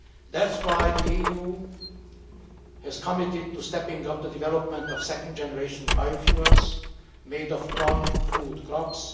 That is why the EU is committed to stepping up the development of second generation biofuels made of non food crops.